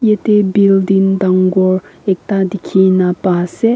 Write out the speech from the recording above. yate building dangor ekta dikhi na pai ase.